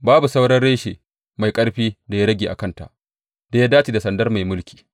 Babu sauran reshe mai ƙarfin da ya rage a kanta da ya dace da sandar mai mulki.’